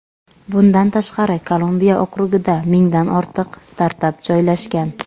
Bundan tashqari, Kolumbiya okrugida mingdan ortiq startap joylashgan.